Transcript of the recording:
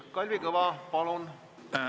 Kalvi Kõva, palun!